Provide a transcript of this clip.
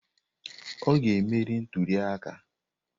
Ọ ga-emeri ntuli aka.